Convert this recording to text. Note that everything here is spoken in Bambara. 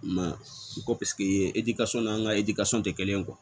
Ma u ko paseke n'an ka tɛ kelen ye